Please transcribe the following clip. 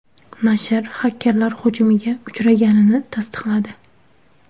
Nashr xakerlar hujumiga uchraganini tasdiqladi.